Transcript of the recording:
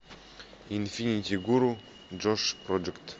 инфинити гуру джош проджект